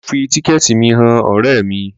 Mo fi tíkẹ̀ẹ̀tì mi han ọ̀rẹ́ mi.